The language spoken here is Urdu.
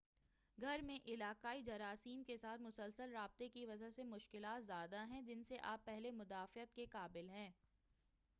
گھر میں علاقائی جراثیم کے ساتھ مسلسل رابطے کی وجہ سے مشکلات زیادہ ہیں جن سے آپ پہلے مدافعت کے قابل ہیں